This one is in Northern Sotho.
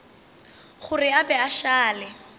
gore a be a šale